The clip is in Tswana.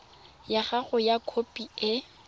ya gago ya kopo e